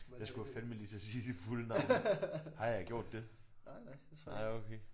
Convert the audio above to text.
Jeg skulle også fandeme lige til at sige dit fulde navn har jeg gjort det? Nej okay